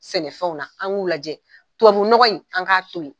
Sɛnɛfɛnw na an k'u lajɛ tɔbabu nɔgɔ in, an k'a to yen.